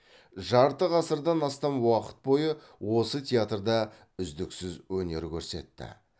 жарты ғасырдан астам уақыт бойы осы театрда үздіксіз өнер көрсетті